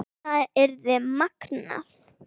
Það yrði magnað.